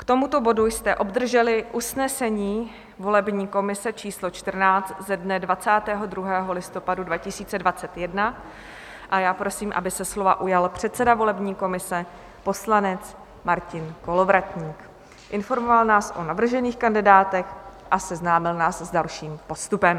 K tomuto bodu jste obdrželi usnesení volební komise číslo 14 ze dne 22. listopadu 2021 a já prosím, aby se slova ujal předseda volební komise poslanec Martin Kolovratník, informoval nás o navržených kandidátech a seznámil nás s dalším postupem.